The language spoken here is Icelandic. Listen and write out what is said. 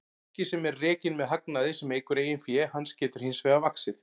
Banki sem er rekinn með hagnaði sem eykur eigin fé hans getur hins vegar vaxið.